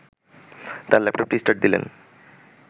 তার ল্যাপটপটি স্টার্ট দিলেন